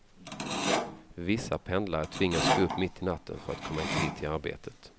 Vissa pendlare tvingas gå upp mitt i natten för att komma i tid till arbetet.